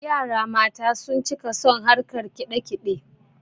yara mata sun cika son harkan kidakide